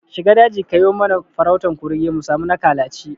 Shiga daji kayo mana farautan kurege musami na kalaci